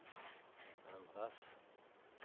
andras